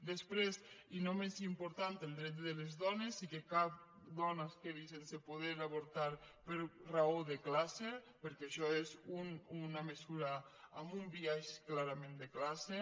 després i no menys important el dret de les dones i que cap dona es quedi sense poder avortar per raó de classe perquè això és una mesura amb un biaix clarament de classe